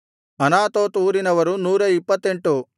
Anathoth ಊರಿನವರು 128